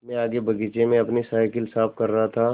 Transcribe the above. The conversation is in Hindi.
मैं आगे बगीचे में अपनी साईकिल साफ़ कर रहा था